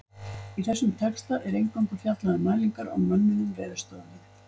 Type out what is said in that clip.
Í þessum texta er eingöngu fjallað um mælingar á mönnuðum veðurstöðvum.